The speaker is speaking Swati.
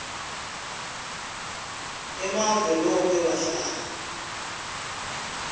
emave loke wahlala